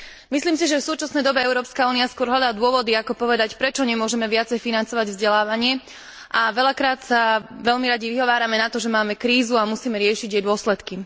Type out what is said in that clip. Myslím si, že v súčasnej dobe Európska únia skôr hľadá dôvody ako povedať, prečo nemôžeme viacej financovať vzdelávanie, a veľakrát sa veľmi radi vyhovárame na to, že máme krízu a musíme riešiť jej dôsledky.